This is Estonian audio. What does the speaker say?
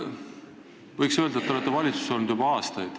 Võiks öelda, et te olete valitsuses olnud juba aastaid.